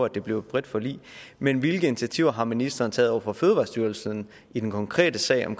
det blev et bredt forlig men hvilke initiativer har ministeren taget over for fødevarestyrelsen i den konkrete sag om